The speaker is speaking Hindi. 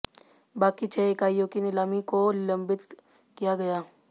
बाकि छः इकाईयों की नीलामी को लम्बित किया गया